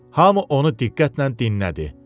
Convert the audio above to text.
Hamı onu diqqətlə dinlədi.